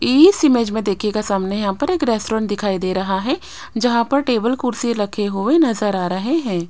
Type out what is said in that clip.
इस इमेज में देखियेगा सामने यहां पर एक रेस्टोरेंट दिखाई दे रहा है जहां पर टेबल कुर्सी रखे हुए नजर आ रहे हैं।